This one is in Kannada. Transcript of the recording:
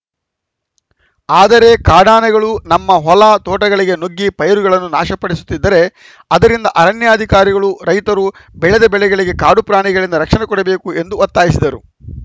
ಆದರೆ ಕಾಡಾನೆಗಳು ನಮ್ಮ ಹೊಲ ತೋಟಗಳಿಗೆ ನುಗ್ಗಿ ಪೈರುಗಳನ್ನು ನಾಶ ಪಡಿಸುತ್ತಿದ್ದರೆ ಅದರಿಂದ ಅರಣ್ಯಾಧಿಕಾರಿಗಳು ರೈತರು ಬೆಳೆದ ಬೆಳೆಗಳಿಗೆ ಕಾಡು ಪ್ರಾಣಿಗಳಿಂದ ರಕ್ಷಣೆ ಕೊಡಬೇಕು ಎಂದು ಒತ್ತಾಯಿಸಿದರು